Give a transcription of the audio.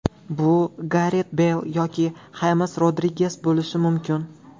Bu Garet Beyl yoki Xames Rodriges bo‘lishi mumkin.